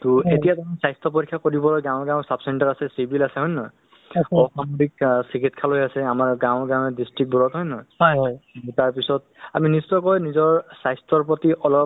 আজিকালি আমাৰ বয়সৰ মানে কম কম বয়সৰ ল'ৰা-ছোৱালিবোৰ heart attack বা অন্য কিছুমান বেমাৰ যি মানে ধৰক মৃত্যু মুখত পৰি আছে to মানুহে অলপ মানে পাই so এই ব্যস্ততাত ব্যস্ততাৰ মাজত মানে মানুহে অলপ নিজৰ স্বাস্থ্যৰ বিষয়ে অলপ